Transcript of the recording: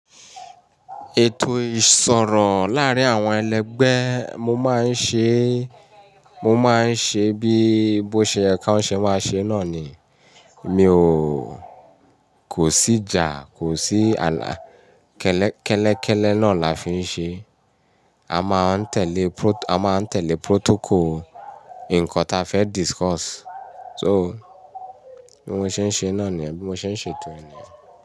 Ètò ìṣọ̀rọ̀ láàárín àwọn ẹlẹgbẹ́ mo máa ń ṣe, mo máa ń ṣe bí bó ṣe ye kań ṣe máa ṣe náà ni. Mi ò, kò sí ìjà, kò sí ààlà kẹ́lẹ́kẹ́lẹ́ náà la fi ń ṣe. A máa ń tẹ̀lé prot- a máa ń tẹ̀lé protocol ǹkan ta fẹ́ discuss. So, bí mo ṣe ń ṣe náà ni ẹbí mo ṣe ń ṣe ètò ẹni.